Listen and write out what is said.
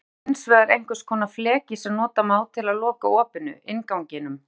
Hurð er hins vegar einhvers konar fleki sem nota má til að loka opinu, innganginum.